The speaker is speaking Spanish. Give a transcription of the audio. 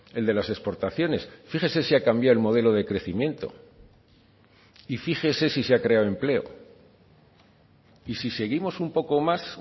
el de las exportaciones fíjese si ha cambiado el modelo de crecimiento y fíjese si se ha creado empleo y si seguimos un poco más